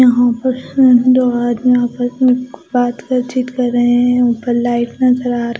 यहां पर से दो आदमी आपस में कुछ बात क चीत कर रहे हैं ऊपर लाइट नजर आ र--